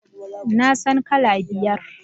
Na san kala biyar